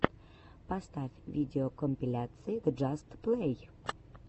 поставь видеокомпиляции джаст плей